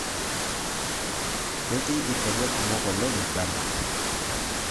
Ketii irkejek kumok oleng' Uganda